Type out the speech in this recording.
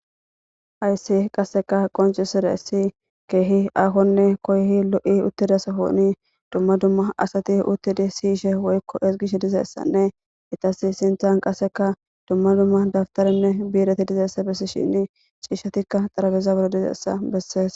Ayssi qasseka qonci sire si keehi akonne koyhi lo7i uttidasahooni dumma dumma asati uttidi siyishe woykko esgish dizeessanne itasi sinthan qasseka dumma dumma dabtaranne biireti dizeessa bessi shinni ciishshatikka xarabezaburo dizeessa bessees.